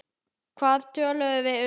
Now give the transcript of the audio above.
Hvað töluðum við um?